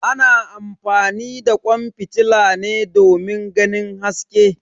Ana amfani da kwan fitila ne domin ganin haske.